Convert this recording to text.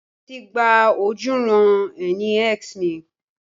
Wọ́n ti gba ojúuran-ẹni X mi.